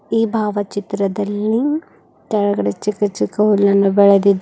ಈ ಭಾವಚಿತ್ರದಲ್ಲಿ ಕೆಳಗಡೆ ಚಿಕ್ಕ ಚಿಕ್ಕ ಹುಲ್ಲನ್ನು ಬೆಳೆದಿದೆ ಮತ್ --